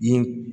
I ye